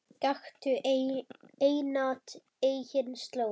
Gakktu einatt eigin slóð.